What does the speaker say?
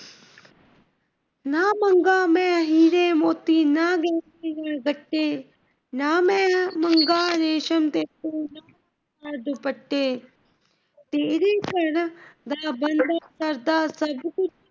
ਨਾ ਮੰਗਾ ਮੈ ਹੀਰੇ ਮੋਤੀ, ਨਾ , ਨਾ ਮੈ ਮੰਗਾ ਰੇਸ਼ਮ ਦੇ ਦੁਪੱਟੇ,